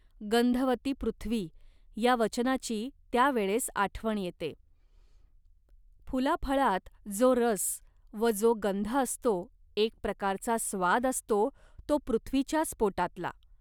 गंधवती पृथ्वी" या वचनाची त्या वेळेस आठवण येते. फुलाफळात जो रस व जो गंध असतो, एक प्रकारचा स्वाद असतो तो पृथ्वीच्याच पोटातला